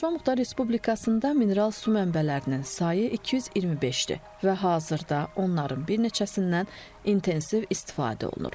Naxçıvan Muxtar Respublikasında mineral su mənbələrinin sayı 225-dir və hazırda onların bir neçəsindən intensiv istifadə olunur.